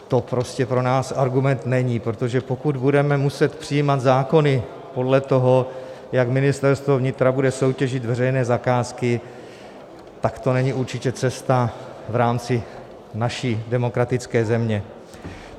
To prostě pro nás argument není, protože pokud budeme muset přijímat zákony podle toho, jak Ministerstvo vnitra bude soutěžit veřejné zakázky, tak to není určitě cesta v rámci naší demokratické země.